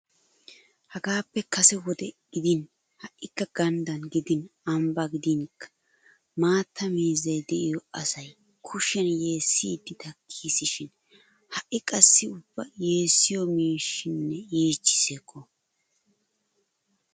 Hagaappe kase wode gidin ha"ikka ganddan gidin ambbaa gidinkka maatta miizay de'iyo asay kushiyan yeessiiddi takkiisishin ha"i qassi ubba yeessiyo maashinee yiichchiis hekko!